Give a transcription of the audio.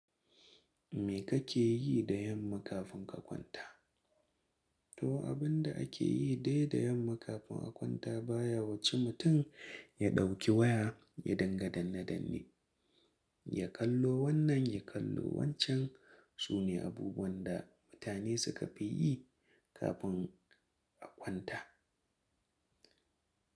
Me kake yi da yamma kafin ka kwanta? To abin da ake yi dai da yamma kafin a kwanta baya wuce mutum ya ɗauki waya ya dinga danne- danne, ya kallo wannan, ya kallo wancan. Su ne abubuwan da mutane suka fi yi kafin a kwanta.